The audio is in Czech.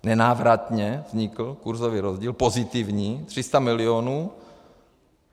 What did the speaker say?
Nenávratně vznikl kurzový rozdíl, pozitivní, 300 milionů.